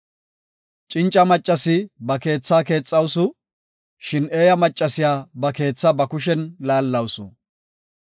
Cinca maccasi ba keethaa keexawusu; shin eeya maccasiya ba keethaa ba kushen laallawusu.